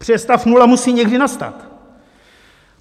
Protože stav nula musí někdy nastat.